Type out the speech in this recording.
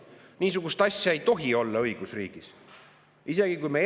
Niisugust asja õigusriigis ei tohi olla!